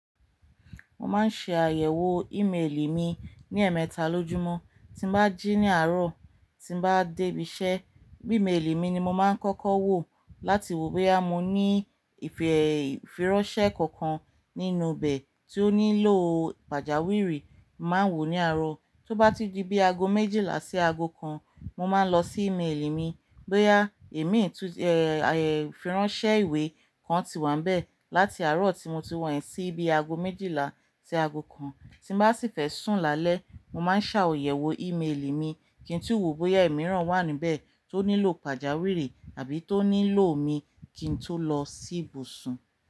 Mo máa ń ṣe àyẹ̀wò ímeèlì mi ní ẹ̀ẹ̀mẹta lójúmọ́. Tí mo bá jí ní àárọ̀, tí bá dé ibi iṣẹ́, bí ìmeèlì mi ni mo máa ń kọ́kọ́ wò láti wo bóyá mo ní ìfìranṣẹ ƙọ̀ọ̀kan nínú bẹ̀ tí ó nílò pàjáwìrì. Mo máa ń wò ó ní àárọ̀. Tó bá ti di bí aago méjìlá sí aago kan, mo máa lọ sí ìmeèlì mi bóyá imi ìfìranṣẹ ìwé kan ti wà níbẹ̀ láti àárọ̀ tí mo ti wọ̀ ẹ́ sí bí aago méjìlá sí aago kan. Tí mo bá sì fẹ́ sùn lálẹ́, mo máa ń ṣàyẹ̀wò ìmeèlì mi kí n tí wò bóyá ẹ̀mí ran wà níbẹ̀ tó nílò pàjáwìrì àbí tó nílò mi kí n tó lọ sí ibùsùn.